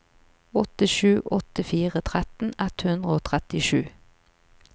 åtte sju åtte fire tretten ett hundre og trettisju